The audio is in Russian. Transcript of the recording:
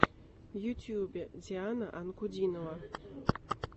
в ютюбе диана анкудинова